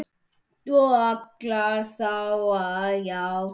Og ætlarðu þá að játa?